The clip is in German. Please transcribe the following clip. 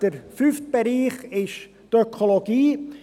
Der fünfte Bereich schlussendlich ist die Ökologie.